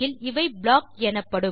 இவை ப்ளாக் எனப்படும்